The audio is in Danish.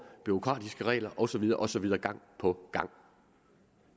bureaukratiske regler og så videre og så videre gang på gang